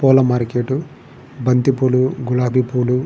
పూల మార్కెట్ బంతి పూలు గులాబీ పూలు --